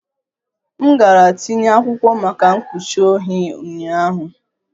M gara tinye akwụkwọ maka mkpuchi ohi ụnyaahụ